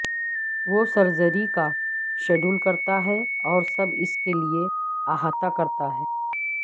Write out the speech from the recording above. وہ سرجری کا شیڈول کرتا ہے اور سب اس کے لئے احاطہ کرتا ہے